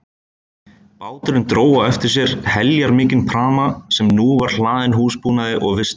Báturinn dró á eftir sér heljarmikinn pramma sem nú var hlaðinn húsbúnaði og vistum.